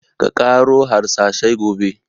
Ka ƙaro harsashai gobe!